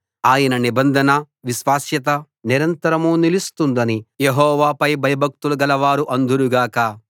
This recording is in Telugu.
ఆయన నిబంధన విశ్వాస్యత నిరంతరం నిలుస్తుందని యెహోవాపై భయభక్తులు గలవారు అందురు గాక